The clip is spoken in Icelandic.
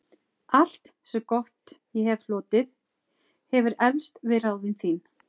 Allt, sem gott ég hefi hlotið, hefir eflst við ráðin þín.